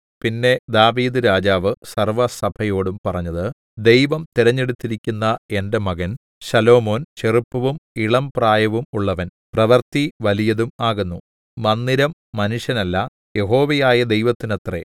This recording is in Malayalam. പിന്നെ ദാവീദ്‌ രാജാവ് സർവ്വസഭയോടും പറഞ്ഞത് ദൈവം തിരഞ്ഞെടുത്തിരിക്കുന്ന എന്റെ മകൻ ശലോമോൻ ചെറുപ്പവും ഇളംപ്രായവും ഉള്ളവൻ പ്രവൃത്തി വലിയതും ആകുന്നു മന്ദിരം മനുഷ്യനല്ല യഹോവയായ ദൈവത്തിനത്രെ